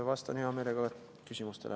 Vastan hea meelega küsimustele.